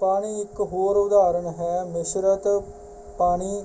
ਪਾਣੀ ਇਕ ਹੋਰ ਉਦਾਹਰਨ ਹੈ। .ਮਿਸ਼ਰਿਤ ਪਾਣੀ